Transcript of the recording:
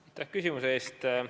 Aitäh küsimuse eest!